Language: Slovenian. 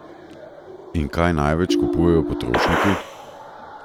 In kaj največ kupujejo potrošniki?